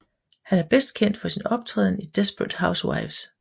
Han er bedst kendt for sin optræden i Desperate Housewives